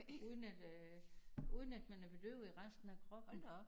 Uden at øh uden at man er bedøvet i resten af kroppen